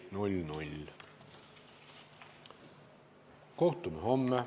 Istungi lõpp kell 12.31.